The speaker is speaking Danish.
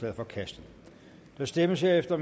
er forkastet der stemmes herefter